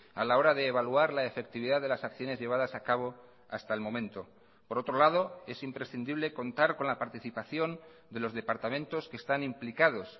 a la hora de evaluar la efectividad de las acciones llevadas a cabo hasta el momento por otro lado es imprescindible contar con la participación de los departamentos que están implicados